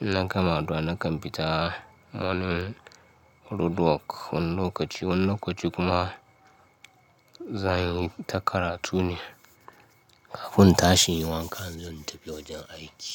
Idan na gama addu'a, na kan fita wannan roadwork wani lokaci, wani lokaci kuma zan yi ta karatu ne. Kafin in tashi inyi wanka zan tafi wajen aiki.